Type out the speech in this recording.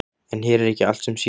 En hér er ekki allt sem sýnist.